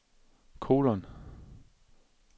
kolon